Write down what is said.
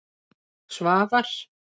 Svavar